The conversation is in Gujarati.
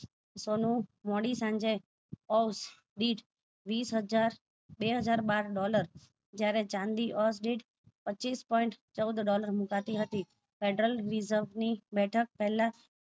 સોનું મોડી સાંજે off beat વીસ હજાર બે હજાર બાર ડોલર જયારે ચાંદ ordite પચ્ચીસ point ચૌદ ડોલર મુકાતી હતી pelteral મિસબ ની બેઠક પેલા